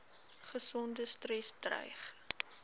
ongesonde stres dreig